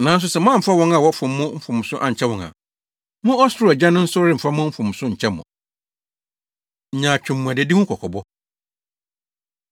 Nanso sɛ moamfa wɔn a wɔfom mo mfomso ankyɛ wɔn a, mo ɔsoro Agya no nso remfa mo mfomso nkyɛ mo.” Nyaatwom Mmuadadi Ho Kɔkɔbɔ